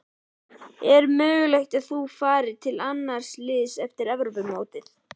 Er möguleiki að þú farir til annars liðs eftir Evrópumótið?